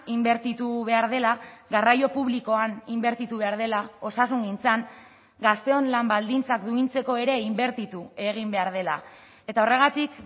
inbertitu behar dela garraio publikoan inbertitu behar dela osasungintzan gazteon lan baldintzak duintzeko ere inbertitu egin behar dela eta horregatik